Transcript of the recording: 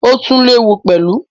ó tún léwu pẹ̀lú.